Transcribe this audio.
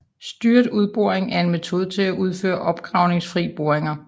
Styret underboring er en metode til at udføre opgravningsfri boringer